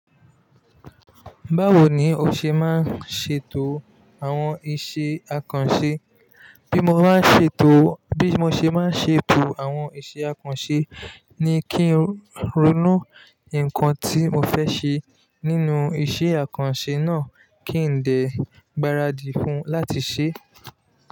Báwo ni o ṣe máa ń ṣètò àwọn iṣẹ́ àkànṣe? Bí mo bá ṣètò, bí mo ṣe máa ń ṣètò àwọn iṣẹ́ àkànṣe ni kí n ronú nǹkan tí mo fẹ́ ṣe nínú iṣẹ́ àkànṣe náà kí dè gbaradì fun láti ṣe.